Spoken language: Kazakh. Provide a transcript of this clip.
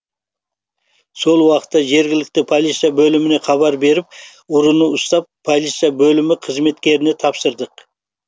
сол уақытта жергілікті полиция бөліміне хабар беріп ұрыны ұстап полиция бөлімі қызметкеріне тапсырдық